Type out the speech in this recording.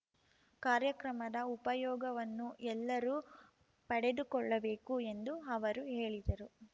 ಕಾರ್ಯಕ್ರಮದ ಉಪಯೋಗವನ್ನು ಎಲ್ಲರೂ ಪಡೆದುಕೊಳ್ಳಬೇಕು ಎಂದು ಅವರು ಹೇಳಿದರು